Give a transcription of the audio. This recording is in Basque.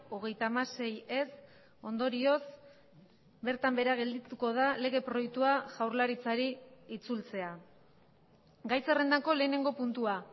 hogeita hamasei ez ondorioz bertan behera geldituko da lege proiektua jaurlaritzari itzultzea gai zerrendako lehenengo puntua